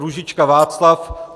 Růžička Václav